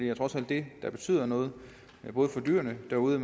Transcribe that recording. er trods alt det der betyder noget både for dyrene derude